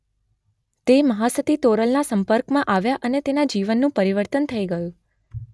તે મહાસતિ તોરલના સંપર્કમાં આવ્યા તેના જીવનનું પરિવર્તન થઇ ગયું